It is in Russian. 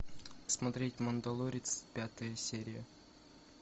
смотреть мандалорец пятая серия